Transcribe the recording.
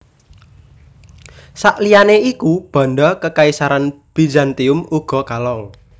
Sakliyane iku banda Kekaisaran Bizantium uga kalong